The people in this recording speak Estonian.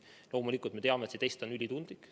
Loomulikult me teame, et see test on ülitundlik.